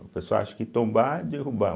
O pessoal acha que tombar é derrubar.